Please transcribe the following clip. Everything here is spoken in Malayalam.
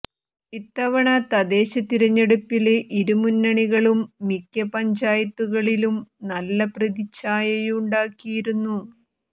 ഇത്തവണ തദ്ദേശ തിരഞ്ഞെടുപ്പില് ഇരു മുന്നണികളും മിക്ക പഞ്ചായത്തുകളിലും നല്ല പ്രതി ഛായയുണ്ടാക്കിയിരുന്നു